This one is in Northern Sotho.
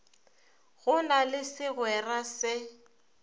go na le segwere se